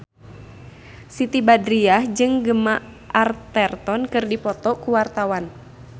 Siti Badriah jeung Gemma Arterton keur dipoto ku wartawan